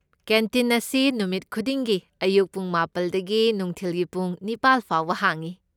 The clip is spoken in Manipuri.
ꯀꯦꯟꯇꯤꯟ ꯑꯁꯤ ꯅꯨꯃꯤꯠ ꯈꯨꯗꯤꯡꯒꯤ ꯑꯌꯨꯛ ꯄꯨꯡ ꯃꯥꯄꯜꯗꯒꯤ ꯅꯨꯡꯊꯤꯜꯒꯤ ꯄꯨꯡ ꯅꯤꯄꯥꯜ ꯐꯥꯎꯕ ꯍꯥꯡꯢ꯫